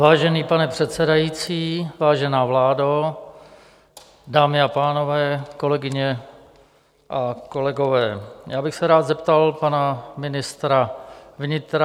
Vážený pane předsedající, vážená vládo, dámy a pánové, kolegyně a kolegové, já bych se rád zeptal pana ministra vnitra.